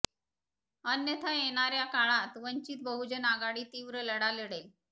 अन्यथा येणार्या काळात वंचित बहुजन आघाडी तिव्र लढा लढेल